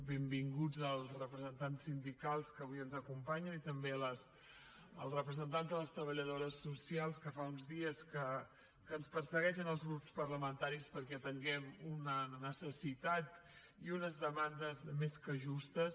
benvinguts els representants sindicals que avui ens acompanyen i també els representants de les treballadores socials que fa uns dies que ens persegueixen als grups parlamentaris perquè atenguem una necessitat i unes demandes més que justes